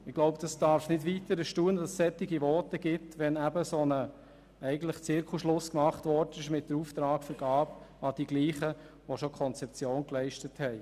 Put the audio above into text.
Ich glaube, es darf nicht weiter erstaunen, dass solche Voten gehalten werden, wenn mit der Auftragsvergabe eigentlich ein Zirkelschluss erfolgt ist, indem man den Auftrag an die Gleichen erteilt hat, die die Konzeption erarbeitet haben.